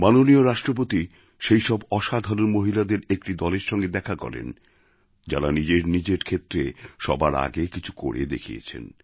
মাননীয় রাষ্ট্রপতি সেইসব অসাধারণ মহিলাদের একটি দলের সঙ্গে দেখা করেন যাঁরা নিজের নিজের ক্ষেত্রে সবার আগে কিছু করে দেখিয়েছেন